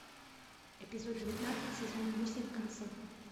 эпизод девятнадцать сезон восемь касл